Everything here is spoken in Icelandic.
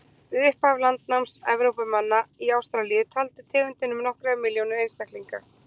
Við upphaf landnáms Evrópumanna í Ástralíu taldi tegundin um nokkrar milljónir einstaklinga.